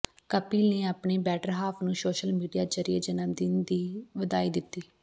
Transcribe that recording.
ਕਪਿਲ ਨੇ ਆਪਣੀ better half ਨੂੰ ਸੋਸ਼ਲ ਮੀਡੀਆ ਜ਼ਰੀਏ ਜਨਮਦਿਨ ਦੀ ਵਧਾਈ ਦਿੱਤੀ